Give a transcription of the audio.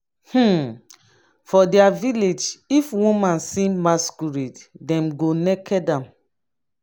um for dia village if woman see masquerade dem go naked am